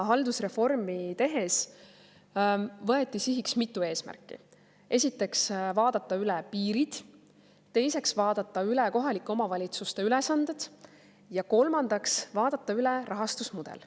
Haldusreformi tehes võeti sihiks mitu eesmärki: esiteks, vaadata üle piirid, teiseks, vaadata üle kohalike omavalitsuste ülesanded, ja kolmandaks, vaadata üle rahastusmudel.